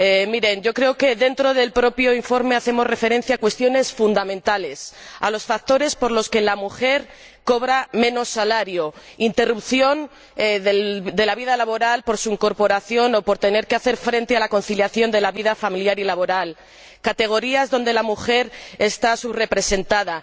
Miren, yo creo que, dentro del propio informe, hacemos referencia a cuestiones fundamentales, a los factores por los que la mujer cobra menos salario interrupción de la vida laboral por su incorporación o por tener que hacer frente a la conciliación de la vida familiar y laboral, categorías donde la mujer está subrepresentada.